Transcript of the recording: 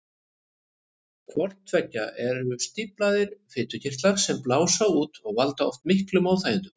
Hvort tveggja eru stíflaðir fitukirtlar sem blása út og valda oft miklum óþægindum.